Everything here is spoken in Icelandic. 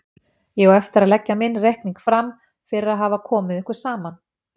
Ég á eftir að leggja minn reikning fram fyrir að hafa komið ykkur saman.